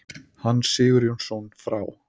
Hans Sigurjónsson frá